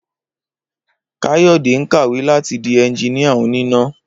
Káyò̩dé ń kàwé láti di enjiníà oníná